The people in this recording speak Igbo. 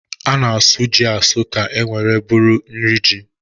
A na-asụ ji asụ ka o nwere bụrụ niri ji